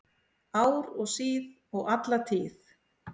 Ár og síð og alla tíð